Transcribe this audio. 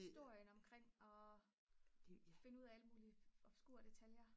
historien omkring at finde ud af alle mulige obskure detaljer